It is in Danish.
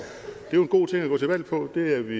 jo en god ting at gå til valg på det er vi